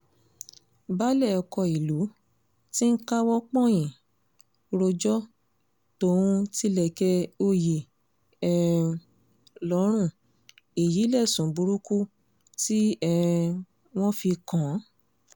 baálé ọkọ̀ ìlú ti ń káwọ́ pọ̀nyìn rojọ́ tóun tilẹ̀kẹ̀ òye um lọ́rùn èyí lẹ́sùn burúkú tí um wọ́n fi kàn án